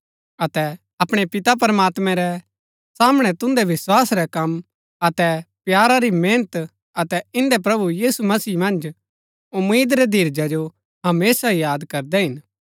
अतै अपणै पिता प्रमात्मैं रै सामणै तुन्दै विस्‍वासा रै कम अतै प्यारा री मेहनत अतै इन्दै प्रभु यीशु मसीह मन्ज उम्मीद रै धीरजा जो हमेशा याद करदै हिन